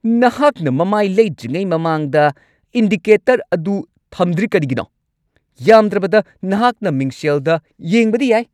ꯅꯍꯥꯛꯅ ꯃꯃꯥꯏ ꯂꯩꯗ꯭ꯔꯤꯉꯩ ꯃꯃꯥꯡꯗ ꯏꯟꯗꯤꯀꯦꯇꯔ ꯑꯗꯨ ꯊꯝꯗ꯭ꯔꯤ ꯀꯔꯤꯒꯤꯅꯣ? ꯌꯥꯝꯗ꯭ꯔꯕꯗ ꯅꯍꯥꯛꯅ ꯃꯤꯡꯁꯦꯜꯗ ꯌꯦꯡꯕꯗꯤ ꯌꯥꯏ꯫